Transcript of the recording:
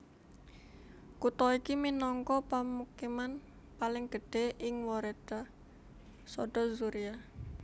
Kutha iki minangka pemukiman paling gedhé ing woreda Sodo Zuria